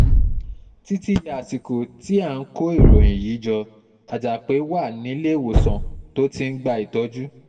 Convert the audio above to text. títí di àsìkò um tí à ń kó ìròyìn yìí jọ àjàpé wa níléemọ̀sán tó ti ń gba um ìtọ́jú